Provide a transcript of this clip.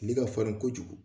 Kile ka farin kojugu.